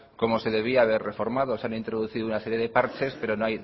como se debía haber reformado se han introducido una serie de parches pero